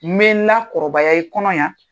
Me n lakɔrɔbaya i kɔnɔ yan.